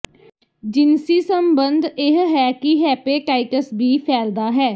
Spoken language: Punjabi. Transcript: ਜਿਨਸੀ ਸੰਬੰਧ ਇਹ ਹੈ ਕਿ ਹੈਪੇਟਾਈਟਸ ਬੀ ਫੈਲਦਾ ਹੈ